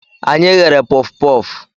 Anyị ghere pufupufu